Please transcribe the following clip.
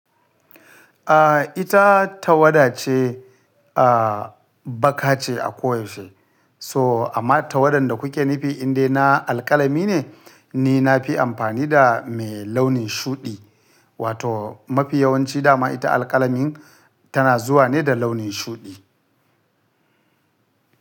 Ah ita tawada ce, ah baƙace a koyaushe. So amma tawadan da kuke nufi indai na alkalami ne, ni na fi amfani da mai launin shuɗi wato mafi yawanci da ma ita alkalamin tana zuwa ne da launin shuɗi.